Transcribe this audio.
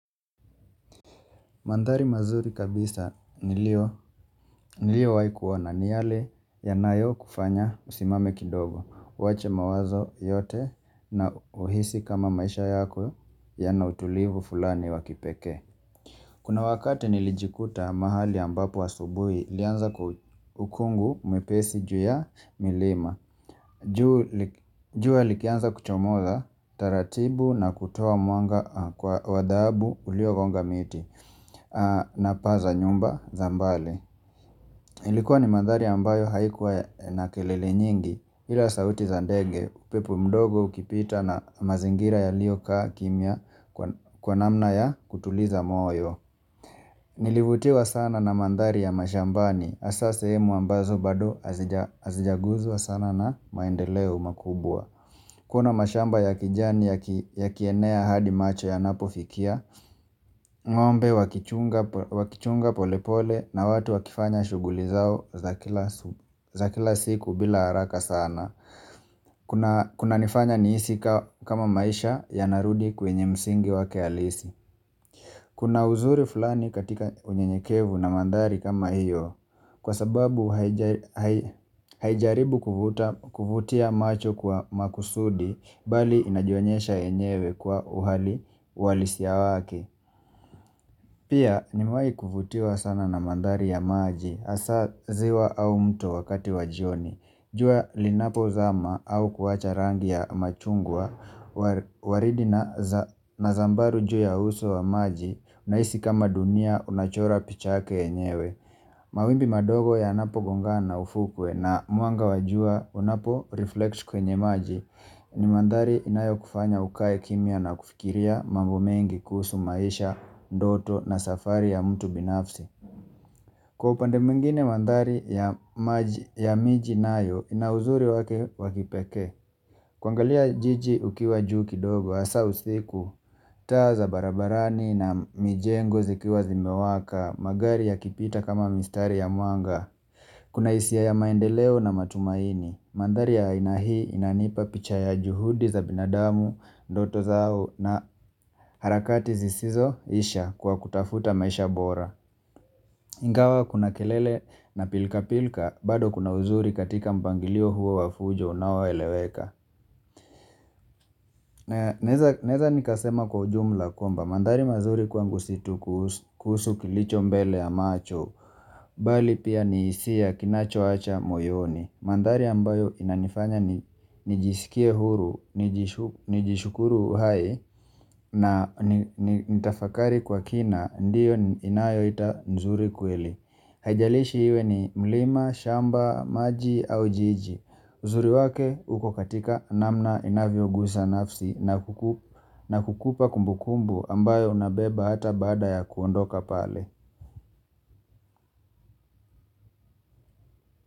Mandhari mazuri kabisa niliyowai kuona ni yale yanayo kufanya usimame kidogo uwache mawazo yote na uhisi kama maisha yako yana utulivu fulani wakipeke Kuna wakati nilijikuta mahali ambapo asubuhi ilianza ukungu mwepesi juu ya milima jua likianza kuchomoza taratibu na kutoa mwanga kwa wa dhahabu ulio gonga miti na paa za nyumba za mbali Ilikuwa ni mandhari ambayo haikuwa na kelele nyingi ila sauti za ndege upepo mdogo ukipita na mazingira yaliokaa kimya kwa namna ya kutuliza moyo Nilivutiwa sana na mandhari ya mashambani hasa sehemu ambazo bado azijaguzwa sana na maendeleo makubwa Kuna mashamba ya kijani ya kienea hadi macho yanapofikia ngombe wakichunga pole pole na watu wakifanya shuguli zao za kila siku bila haraka sana kunanifanya nihisi kama maisha yanarudi kwenye msingi wake alisi Kuna uzuri fulani katika unyenyekevu na mandhari kama hiyo Kwa sababu haijaribu kuvutia macho kwa makusudi Bali inajionyesha enyewe kwa uhali uhalisia wake Pia nimewai kuvutiwa sana na mandhari ya maji hasa ziwa au mto wakati wa jioni. Jua linapo zama au kuwacha rangi ya machungwa waridi na zambaru juu ya uso wa maji unahisi kama dunia unachora pichake yenyewe. Mawimbi madogo ya napo gonga na ufukwe na mwanga wajua unapo reflect kwenye maji ni mandhari inayo kufanya ukae kimya na kufikiria mambo mengi kuhusu maisha, ndoto na safari ya mtu binafsi. Kwa upande mwingine mandhari ya miji nayo ina uzuri wake wakipeke kuangalia jiji ukiwa juu kidogo, hasa usiku, taa za barabarani na mijengo zikiwa zimewaka magari yakipita kama mistari ya mwanga Kuna hisia ya maendeleo na matumaini Mandhari ya aina hii inanipa picha ya juhudi za binadamu, ndoto zao na harakati zisizo isha kwa kutafuta maisha bora Ingawa kuna kelele na pilka pilka, bado kuna uzuri katika mpangilio huo wa fujo unaoeleweka. Naeza nikasema kwa jumla kwamba, mandhari mazuri kwangu si tu kusu kilicho mbele ya macho, bali pia ni hisia kinacho acha moyoni. Mandhari ambayo inanifanya nijisikie huru, nijishukuru hai, na nitafakari kwa kina, ndiyo inayo ita nzuri kweli. Haijalishi iwe ni mlima, shamba, maji au jiji uzuri wake uko katika namna inavyo guza nafsi na kukupa kumbukumbu ambayo unabeba hata bada ya kuondoka pale.